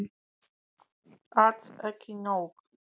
Alls ekki nóg.